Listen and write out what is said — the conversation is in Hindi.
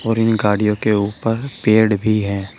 और इन गाड़ियों के ऊपर पेड़ भी है।